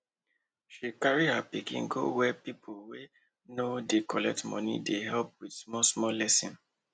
she carry her pikin go place wey people wey no dey collect money dey help with small small lesson